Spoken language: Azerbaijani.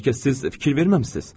Bəlkə siz fikir verməmisiz?